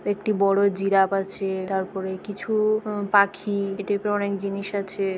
একটি বড়ো জিরাফ আছে। তারপরে কিছু-উ আ পাখি। এটির উপরে অনেক জিনিস আছে।